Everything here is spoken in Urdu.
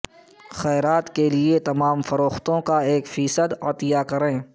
خیرات یا دو انتخاب کے لئے تمام فروختوں کا ایک فیصد عطیہ کریں